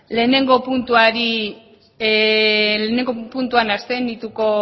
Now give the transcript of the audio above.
lehenengo puntuan abstenituko